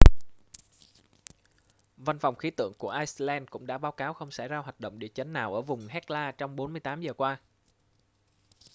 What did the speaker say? văn phòng khí tượng của iceland cũng đã báo cáo không xảy ra hoạt động địa chấn nào ở vùng hekla trong 48 giờ qua